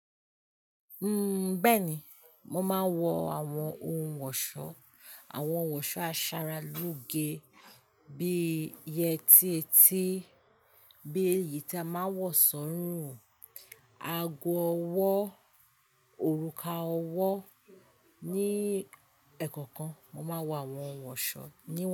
Uhm, bẹ́ẹ̀ni, mo máa ń wọ àwọn ohun ọ̀ṣọ́, àwọn ọ̀ṣọ́ aṣaralóge bí i yetí etí, bí i èyí tí a máa ń wọ̀ sọ́rùn, ago ọwọ́, òrùka ọwọ́. Ni ẹ̀kọ̀kan, mo máa ń wọ àwọn ohun ọ̀ṣọ́ níwọ̀n.